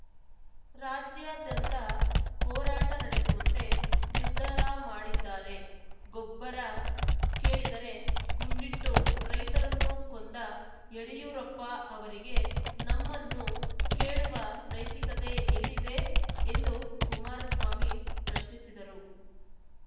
ರಾಜ್ಯಾದ್ಯಂತ ಹೋರಾಟ ನಡೆಸುವಂತೆ ನಿರ್ಧಾರ ಮಾಡಿದ್ದಾರೆ ಗೊಬ್ಬರ ಕೇಳಿದರೆ ಗುಂಡಿಟ್ಟು ರೈತರನ್ನು ಕೊಂದ ಯಡಿಯೂರಪ್ಪ ಅವರಿಗೆ ನಮ್ಮನ್ನು ಕೇಳುವ ನೈತಿಕತೆ ಎಲ್ಲಿದೆ ಎಂದು ಕುಮಾರಸ್ವಾಮಿ ಪ್ರಶ್ನಿಸಿದರು